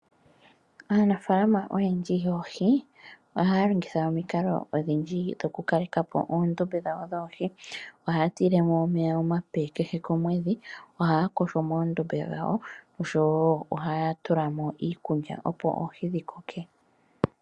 Aanafalama oyendji yoohi ohaya longitha omikalo odhindji dhokukalekapo oondombe dhawo dhoohi. Ohaya tile mo omeya omape kehe komwedhi, ohaya yogo mo moondombe dhawo oshowo ohaya tula mo iikulya, opo oohi dhi koke.